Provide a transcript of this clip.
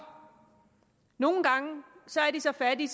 nogle gange er de så fattige